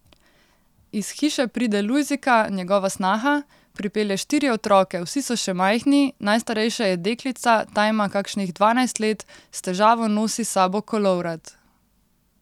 Iz hiše pride Lujzika, njegova snaha, pripelje štiri otroke, vsi so še majhni, najstarejša je deklica, ta ima kakšnih dvanajst let, s težavo nosi s sabo kolovrat.